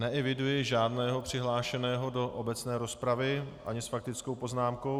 Neeviduji žádného přihlášeného do obecné rozpravy ani s faktickou poznámkou.